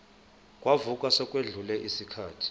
kamuva sekwedlule isikhathi